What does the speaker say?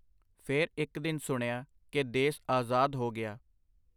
ਫੇਰ ਇੱਕ ਦਿਨ ਸੁਣਿਆ ਕਿ ਦੇਸ ਆਜ਼ਾਦ ਹੋ ਗਿਆ.